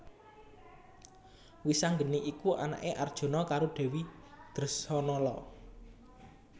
Wisanggeni iku anaké Arjuna karo Dèwi Dresanala